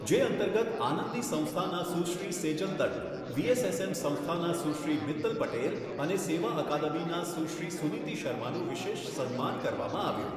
જે અંતર્ગત આનંદી સંસ્થાના સુશ્રી સેજલ દંડ, વીએસએસએમ સંસ્થાના સુશ્રી મિત્તલ પટેલ અને સેવા અકાદમીના સુશ્રી સુનીતિ શર્માનું વિશેષ સન્માન કરવામાં આવ્યું.